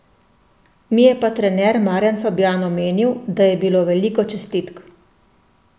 Mi je pa trener Marjan Fabjan omenil, da je bilo veliko čestitk.